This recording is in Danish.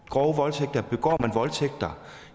grove voldtægter begår